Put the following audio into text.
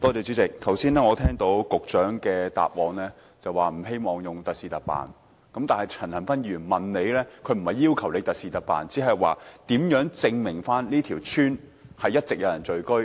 主席，剛才局長在答覆時表示，不希望特事特辦，但陳恒鑌議員並不是要求局長特事特辦，只是問如何證明這條村一直有人聚居？